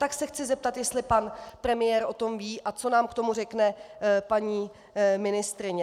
Tak se chci zeptat, jestli pan premiér o tom ví a co nám k tomu řekne paní ministryně.